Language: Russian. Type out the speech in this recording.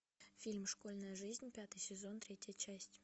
фильм школьная жизнь пятый сезон третья часть